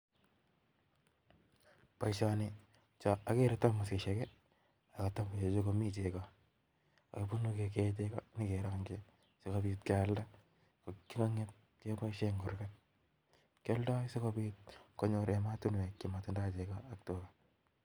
Boishoni, agere thamosisiek ak kalanisiek chemi chekoo, bokekee chekoo cheityoo nyon kerongyii sikobiit kealdaa si kenyor chepkondook